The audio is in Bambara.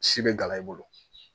Si be gala i bolo